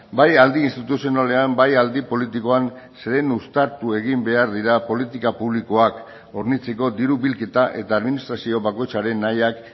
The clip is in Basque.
bai aldi instituzionalean bai aldi politikoan zeren uztartu egin behar dira politika publikoak hornitzeko diru bilketa eta administrazio bakoitzaren nahiak